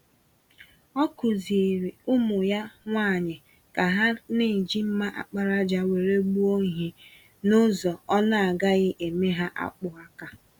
Ọ kụziiri ụmụ ya nwanyị ka ha na-eji mma àkpàràjà were gbuo ìhè, nụzọ ọna agaghị eme ha akpụ-aka.